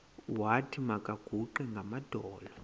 wathi makaguqe ngamadolo